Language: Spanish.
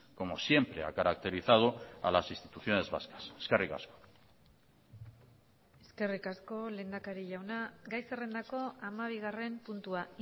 como siempre ha caracterizado a las instituciones vascas eskerrik asko eskerrik asko lehendakari jauna gai zerrendako hamabigarren puntua